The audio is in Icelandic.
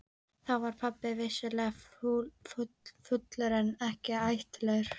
Þá var pabbi vissulega fullur en ekki hættulegur.